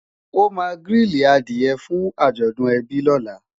o má grili adìe fún ajọdun ebi lọla